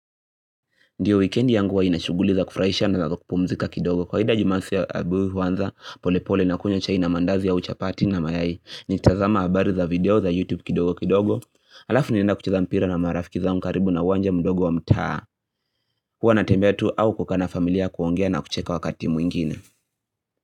Ndiyo wikendi yangu huwa inashuguli za kufurahisha na za kupumzika kidogo kwa hida jumasi ya abu huwanza pole pole nakunywa chai na mandazi ya chapati na mayai ni tazama habari za video za youtube kidogo kidogo alafu nienda kucheza mpira na marafiki za karibu na uwanja mdogo wa mtaa huwa na tembea tu au kukaa familia kuongea na kucheka wakati mwingine.